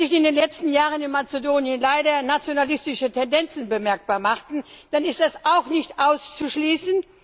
Wenn sich in den letzten Jahren in Mazedonien leider nationalistische Tendenzen bemerkbar machten, dann ist das auch nicht auszuschließen